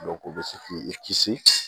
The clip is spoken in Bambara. u bɛ se k'i kisi